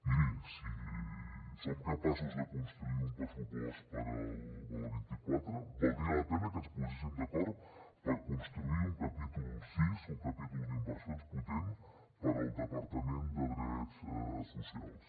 miri si som capaços de construir un pressupost per al vint quatre valdria la pena que ens poséssim d’acord per construir un capítol sis un capítol d’inversions potent per al departament de drets socials